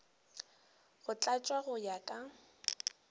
go tlatšwa go ya ka